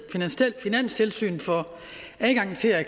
finanstilsynet får adgang til at